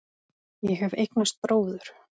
Ég hef eignast bróður.